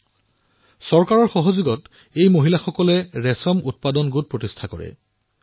এই মহিলাসকলে চৰকাৰৰ সহযোগত মালৱৰী উৎপাদন গোট গঠন কৰিলে